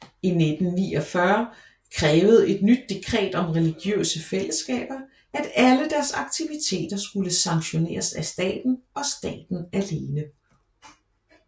I 1949 krævede et nyt dekret om religiøse fællesskaber at alle deres aktiviteter skulle sanktioneres af staten og staten alene